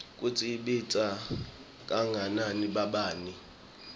kutsi ibita kangakanani